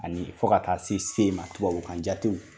Ani fo ka taa se se ma tubabu ka kan jate